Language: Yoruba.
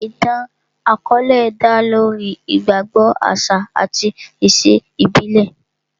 Ìtàn àkọ́ọ́lẹ̀ dá lórí ìgbàgbọ, àṣà àti ìṣe ìbílẹ̀